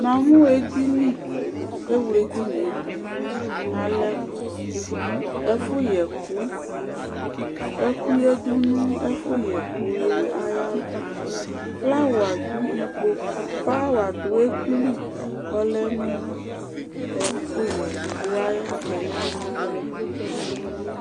Namʋ edini ewle edini dʋ ɛfʋ yɛ ɛkʋ ɛkʋ yadʋ nʋ ɛfʋyɛ ɛkʋ ayʋ ɛkplɔyɛ ava flawa du ɛkʋli kʋ ɔyadʋ nʋ ɛkʋyɛkplɔ ava